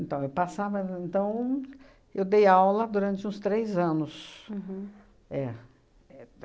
Então, eu passava... Então, eu dei aula durante uns três anos. Uhum. É, é